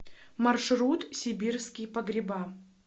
маршрут сибирские погреба